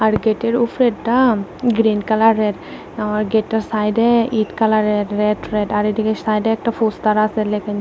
গেটের উপরেরটা গ্রিন কালারের আ গেটটার সাইডে ইট কালারের রেড রেড আর এদিকে সাইডে একটা ফস্টার আছে